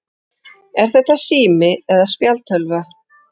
Er þetta sími eða spjaldtölva?